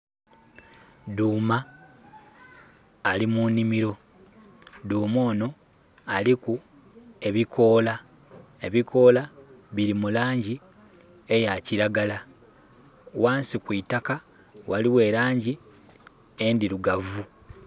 Dhuuma ali mu nhimiro. Dhuuma onho aliku ebikoola. Ebikoola bili mu laangi eya kiragala. Ghansi ku itaka, ghaligho elaangi endhirugavu.